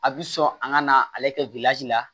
A bi sɔn a ka na ale kɛ la